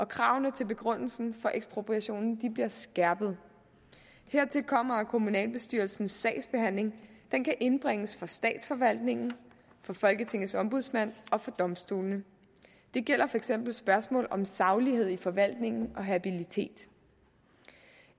kravene til begrundelsen for ekspropriationen bliver skærpet hertil kommer at kommunalbestyrelsens sagsbehandling kan indbringes for statsforvaltningen for folketingets ombudsmand og for domstolene det gælder for eksempel spørgsmål om saglighed i forvaltningen og habilitet